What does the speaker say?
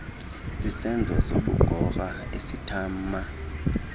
sisenzo sobugorha esintama